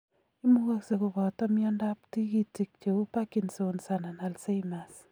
Imukagse kobato miondo ab tigitik cheu Parkinson's anan Alzheimer's